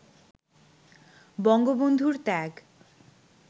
বঙ্গবন্ধুর ত্যাগ